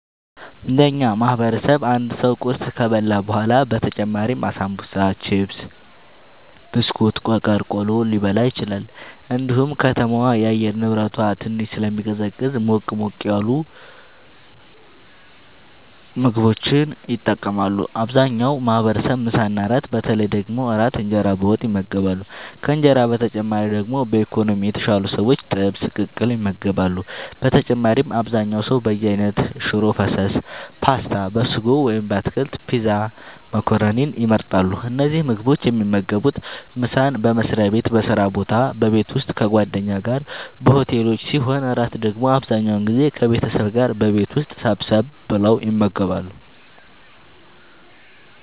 እንደ እኛ ማህበረሰብ አንድ ሰው ቁርስ ከበላ በኋላ በተጨማሪም አሳንቡሳ ቺፕስ ብስኩት ቆቀር ቆሎ ሊበላ ይችላል እንዲሁም ከተማዋ የአየር ንብረቷ ትንሽ ስለሚቀዘቅዝ ሞቅ ሞቅ ያሉ ምግቦችን ይጠቀማሉ አብዛኛው ማህበረሰብ ምሳ እና እራት በተለይ ደግሞ እራት እንጀራ በወጥ ይመገባሉ ከእንጀራ በተጨማሪ ደግሞ በኢኮኖሚ የተሻሉ ሰዎች ጥብስ ቅቅል ይመገባሉ በተጨማሪም አብዛኛው ሰው በየአይነት ሽሮ ፈሰስ ፓስታ(በስጎ ወይም በአትክልት) ፒዛ መኮረኒን ይመርጣሉ። እነዚህን ምግቦች የሚመገቡት ምሳን በመስሪያ ቤት በስራ ቦታ በቤት ውስጥ ከጓደኛ ጋር በሆቴሎች ሲሆን እራት ደግሞ አብዛኛውን ጊዜ ከቤተሰብ ጋር በቤት ውስጥ ሰብሰብ ብለው ይመገባሉ።